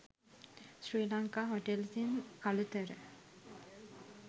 sri lanka hotels in kalutara